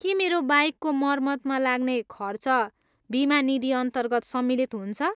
के मेरो बाइकको मर्मतमा लाग्ने खर्च बिमा निधिअन्तर्गत सम्मिलित हुन्छ?